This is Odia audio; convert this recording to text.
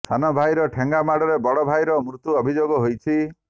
ସାନ ଭାଇର ଠେଙ୍ଗା ମାଡରେ ବଡ଼ ଭାଇ ର ମୃତ୍ୟୁ ଅଭିଯୋଗ ହୋଇଛି